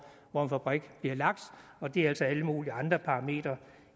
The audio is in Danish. hvor en fabrik bliver lagt og det er altså alle mulige andre parametre